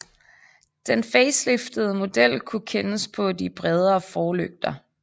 Den faceliftede model kunne kendes på de bredere forlygter